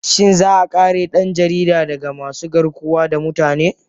Shin za a kare dan jaridar daga masu garkuwa da mutane?